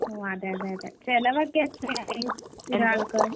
ഓഹ് അതെയതെ അതേ. ചെലവൊക്കേ എത്രയായി? ഒരാൾക്ക് ടോട്ടല്‍ ചെലവ് എത്രയായി